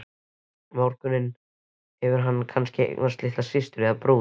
morgun hefur hann kannski eignast litla systur eða bróður.